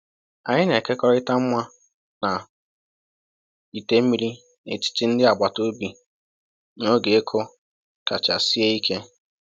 Anyị na-ekekọrịta mma na ite mmiri n’etiti ndị agbata obi n’oge ịkụ kacha sie ike.